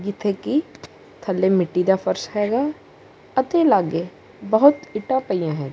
ਜਿੱਥੇ ਕੀ ਥੱਲੇ ਮਿੱਟੀ ਦਾ ਫਰਜ਼ ਹੈਗਾ ਅਤੇ ਲਾਗੇ ਬਹੁਤ ਇਟਾ ਪਈਆਂ ਹੈ।